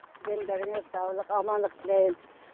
дендеріңе саулық амандық тілейм